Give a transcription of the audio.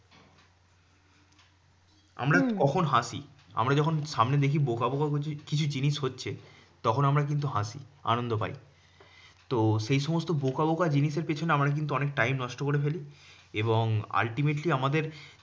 আমরা কখন হাসি? আমরা যখন সামনে দেখি বোকা বোকা কিছু কিছু জিনিস হচ্ছে, তখন আমরা কিন্তু হাসি আনন্দ পাই তো সেই সমস্ত বোকা বোকা জিনিসের পিছনে আমরা কিন্তু অনেক time নষ্ট করে ফেলি। এবং ultimately আমাদের